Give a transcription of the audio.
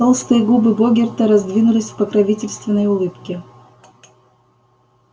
толстые губы богерта раздвинулись в покровительственной улыбке